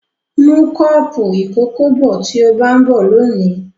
Mú kọ́ọ́pù ìkókó bọ̀ tí ó bá ń bọ̀ lónìí.